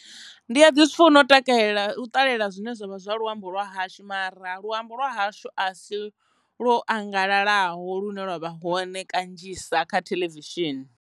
Ndi a ḓi zwi funa u takalela u ṱalela zwine zwavha zwa luambo lwa hashu mara luambo lwa hashu a si lwo angalalaho lune lwa vha hone kanzhisa kha theḽevishini.